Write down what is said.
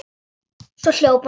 Svo hljóp hún áfram.